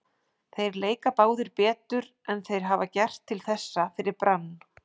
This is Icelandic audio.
Þeir leika báðir betur en þeir hafa gert til þessa fyrir Brann.